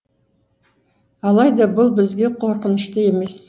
алайда бұл бізге қорқынышты емес